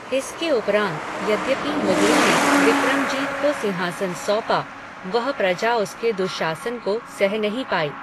इसके उपरांत यद्यपि मुगलों ने विक्रमजीत को सिंहासन सौंपा, वह प्रजा उसके दुःशासन को सह नहीं पायी